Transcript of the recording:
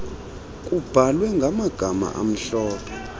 kubhalwe ngamagama amhlophe